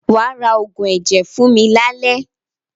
Wà á ra oògùn ẹ̀jẹ̀ fún mi lálẹ́!